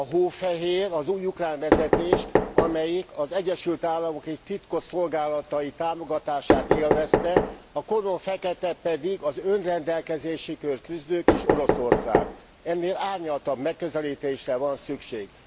Hófehér az új ukrán vezetés, amelyik az Egyesül Államok és titkosszolgálatai támogatását élvezte, koromfeketék pedig az önrendelkezésükért küzdők és Oroszország ennél árnyaltabb megközelítésre van szükség.